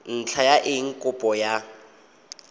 ntlha ya eng kopo ya